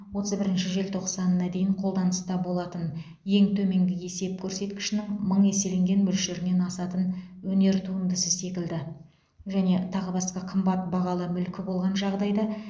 отыз бірінші желтоқсанына дейін қолданыста болатын ең төменгі есеп көрсеткішінің мың еселенген мөлшерінен асатын өнер туындысы секілді және тағы басқа қымбат бағалы мүлкі болған жағдайда